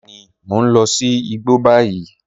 Bẹẹni, mọ̀ n lọ̀ sí ìgbọ́ ní báyìí.